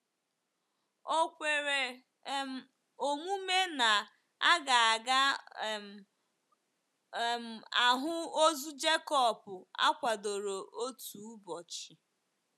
Ò kwere um omume na a ga ga um - um ahụ ozu Jekọb akwadoro otu ụbọchị?